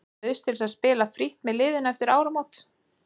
Ég bauðst til að spila frítt með liðinu eftir áramót.